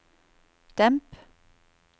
demp